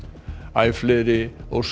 æ fleiri óska